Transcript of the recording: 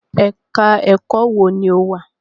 Ẹ̀ka-ẹ̀kọ́ wo ni o wà?